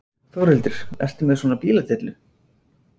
Þórhildur: Ertu með svona bíladellu?